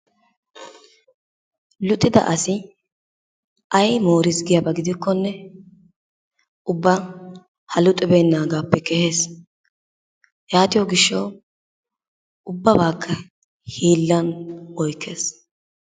Luxidda asi ay mooriis giyaba giddikkonne ubba ha luxibeenaagaappe kehees. Yaatiyo gishshawu ubbabaakka hiilan oykkees.